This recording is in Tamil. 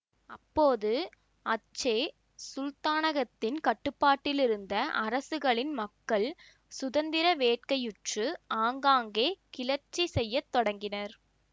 அப்போது அச்சே சுல்தானகத்தின் கட்டுப்பாட்டிலிருந்த அரசுகளின் மக்கள் சுதந்திர வேட்கையுற்று ஆங்காங்கே கிளர்ச்சி செய்ய தொடங்கினர்